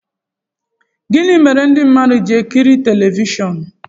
gịnị mere ndị mmadụ ji-ekiri telivishọn